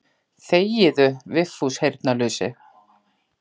Þegiðu Vigfús heyrnarlausi.